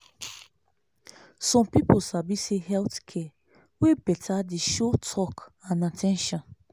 some people sabi say health care wey beta dey show talk and at ten tion.